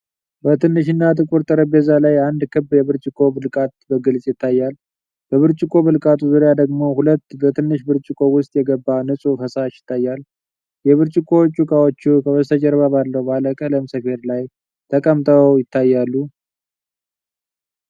በትንሽና ጥቁር ጠረጴዛ ላይ አንድ ክብ የብርጭቆ ብልቃጥ በግልጽ ይታያል። በብርጭቆ ብልቃጡ ዙሪያ ደግሞ ሁለት በትንሽ ብርጭቆ ውስጥ የገባ ንፁህ ፈሳሽ ይታያል። የብርጭቆዎቹ ዕቃዎች ከበስተጀርባ ባለው ባለቀለም ሰፌድ ላይ ተቀምጠው ይታያሉ።